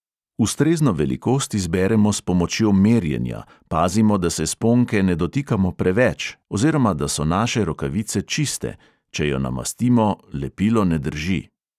Ustrezno velikost izberemo s pomočjo merjenja, pazimo, da se sponke ne dotikamo preveč, oziroma da so naše rokavice čiste – če jo namastimo, lepilo ne drži.